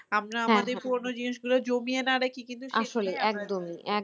আমরা আমাদের পুরানো জিনিসগুলো জমিয়ে না রেখে কিন্তু